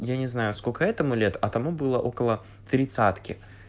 я не знаю сколько этому лет а тому было около тридцатки